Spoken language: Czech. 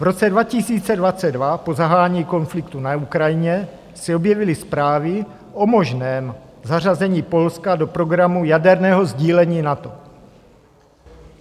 V roce 2022 po zahájení konfliktu na Ukrajině se objevily zprávy o možném zařazení Polska do programu jaderného sdílení NATO.